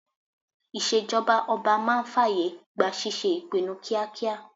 Ìṣèjọba ọba máa ń fàyè gba ṣíṣe ìpinnu kíákíá